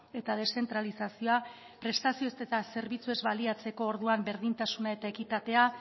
eta deszentralizazioa prestazio eta zerbitzuez baliatzeko orduan berdintasuna eta ekitatea